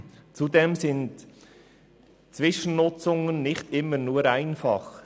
Zudem sind Zwischennutzungen nicht immer nur einfach.